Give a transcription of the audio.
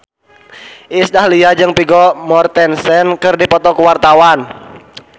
Iis Dahlia jeung Vigo Mortensen keur dipoto ku wartawan